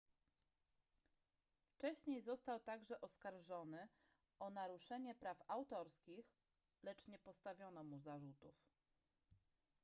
wcześniej został także oskarżony o naruszenie praw autorskich lecz nie postawiono mu zarzutów